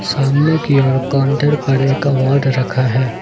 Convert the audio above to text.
सामने की ओर काउंटर पर एक अवार्ड रखा है।